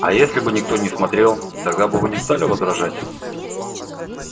а если бы никто не смотрел тогда бы вы не стали возражать